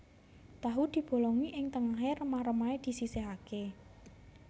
Tahu dibolongi ing tengahé remah remahé disisihaké